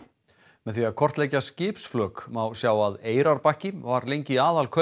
með því að kortleggja skipsflök má sjá að Eyrarbakki var lengi